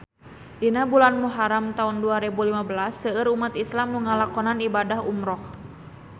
Dina bulan Muharam taun dua rebu lima belas seueur umat islam nu ngalakonan ibadah umrah